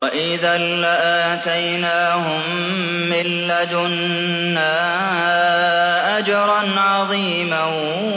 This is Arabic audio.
وَإِذًا لَّآتَيْنَاهُم مِّن لَّدُنَّا أَجْرًا عَظِيمًا